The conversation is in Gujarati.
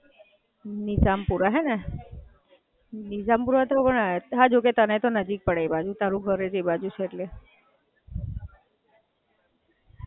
નિઝામપૂરા હે ને. નિઝામપૂરા તો પણ, હાં જો કે તને તો નજીક પડે, તારું ઘર જ એ બાજુ છે એટલે.